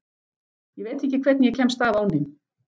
Ég veit ekki hvernig ég kemst af án þín.